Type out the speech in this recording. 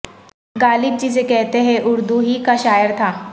غالب جسے کہتے ہیں اردو ہی کا شاعر تھا